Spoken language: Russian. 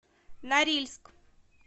норильск